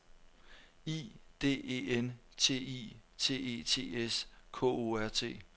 I D E N T I T E T S K O R T